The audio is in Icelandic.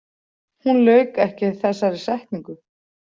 Hún lauk ekki þessari setningu.